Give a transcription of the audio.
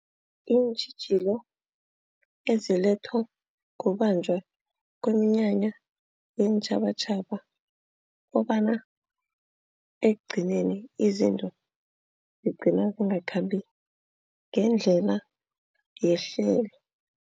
Iintjhijilo ezilethwa kubanjwa kweminyanya yeentjhabatjhaba. Kukobana ekugcineni izinto zigcina zingakhambi ngendlela yehlelo.